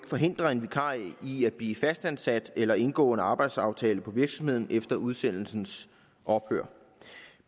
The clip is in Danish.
forhindre en vikar i at blive fastansat eller indgå en arbejdsaftale på virksomheden efter udsendelsens ophør